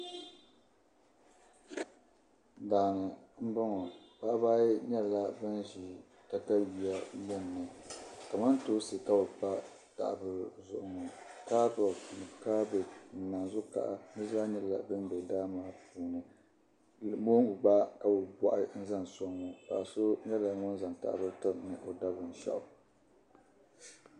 Daa ni m-bɔŋɔ paɣiba ayi nyɛla ban ʒi takayua gbunni kamantoosi ka bɛ pa taha' bila zuɣu ŋɔ kaarooti ni kaabeeji ni naanzu' kaha di zaa nyɛla dim be daa maa puuni mooŋgu gba ka bɛ bɔɣi n-zaŋ sɔŋ ŋɔ paɣa so nyɛla ŋun zaŋ yahali tiri ni o da binshɛɣu.